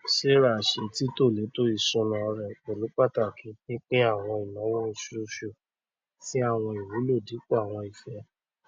sarah ṣe títọ lẹtọ isúnà rẹ pẹlú pàtàkì pínpín àwọn ináwó oṣooṣu sí àwọn ìwúlò dípò àwọn ìfẹ